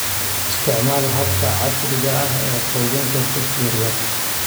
Isticmaal hababka casriga ah ee quudinta chicks yar yar.